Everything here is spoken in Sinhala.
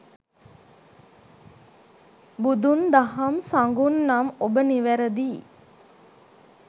බුදුන් දහම් සඟුන් නම් ඔබ නිවැරදියි